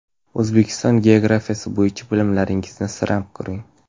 O‘zbekiston geografiyasi bo‘yicha bilimlaringizni sinab ko‘ring!.